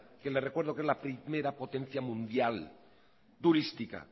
que les recuerdo que es la primera potencia mundial turística